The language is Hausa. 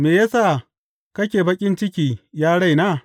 Me ya sa kake baƙin ciki, ya raina?